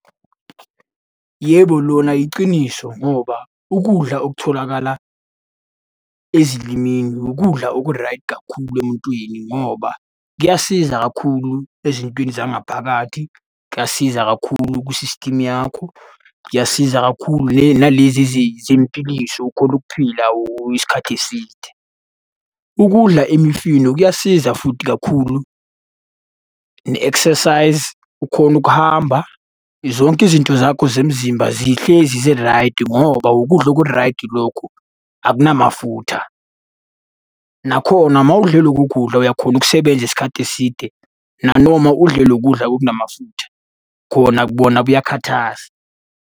Yebo, lona yiciniso ngoba ukudla okutholakala ezilimini ukudla okuraydi kakhulu emuntwini ngoba kuyasiza kakhulu ezintweni zangaphakathi. Kuyasiza kakhulu kwi-system yakho, kuyasiza kakhulu nalezi zempiliso ukhone ukuphila isikhathi eside. Ukudla imifino kuyasiza futhi kakhulu, ne-exercise, ukhone ukuhamba. Zonke izinto zakho zemzimba zihlezi ziraydi ngoba wukudla okuraydi lokhu akunamafutha. Nakhona uma udle loku kudla uyakhona ukusebenza isikhathi eside, nanoma udle lo kudla okunamafutha, khona bona kuyakhathaza.